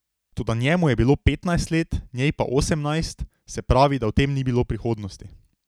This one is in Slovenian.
Toda njemu je bilo petnajst let, njej pa osemnajst, se pravi, da v tem ni bilo prihodnosti.